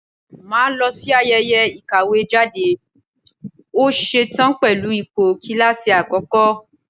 Mà á lọ sí ayẹyẹ ìkàwé jáde, ó ṣe tán pẹ̀lú ipò kíláàsì àkọ́kọ́.